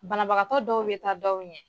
Banabagatɔ dɔw bɛ taa dɔw ɲɛ.